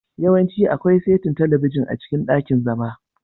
Yawanci akwai saitin talabijin a cikin ɗakin zama.